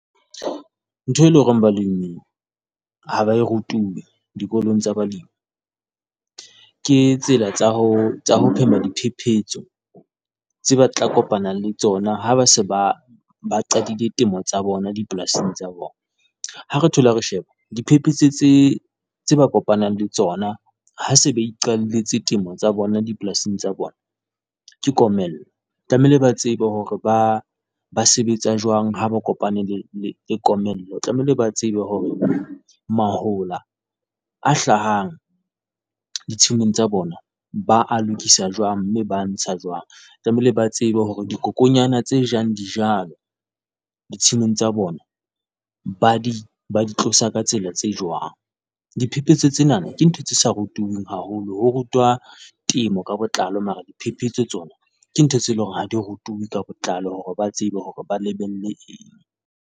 Ntho eo eleng hore balemi ha ba e rutwe dikolong tsa balemi ke tsela tsa ho phema diphephetso tseo ba tla kopana le tsona ha ba se ba qadile temo tsa bona dipolasing tsa bona. Ha re thola re sheba diphephetso tse tseo ba kopanang le tsona, ha ba se be iqalletse temo tsa bona dipolasing tsa bona, ke komello. Tlamehile ba tsebe hore ba ba sebetsa jwang ha ba kopane le le komello, tlamehile ba tsebe hore mahola a hlahang ditshimong tsa bona ba a lokisa jwang, mme ba a ntsha jwang, tlamehile ba tsebe hore dikokonyana tse jang dijalo, ditshimong tsa bona ba di ba di tlosa ka tsela tse jwang. Diphephetso tsena ke ntho tse sa rutuweng haholo. Ho rutwa temo ka botlalo mara diphephetso tsona ke ntho tse eleng hore ha di rutuwe ka botlalo hore ba tsebe hore ba lebelle eng.